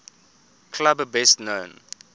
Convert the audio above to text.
club best known